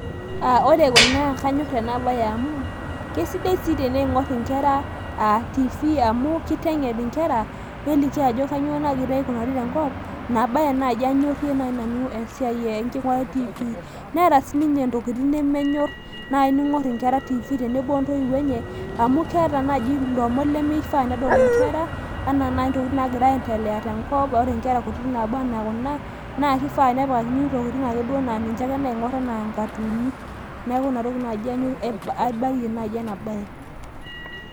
ore kuna naa kanyor enabaye amu kesidai sii ting'or enkera TV, amu kiteng'en enkera enegira enkop aikunari , ina baye naaji nanu anyorie enking'urata e tv neeta sii intokitin nemenyor enkera ning'or ontoiyio enye ,amu keeta naaji intokitin nifaa nedol inkera anaa intokitin naagira aendelea tenkop neeku kifaa naaji ning'or ingatoons ake.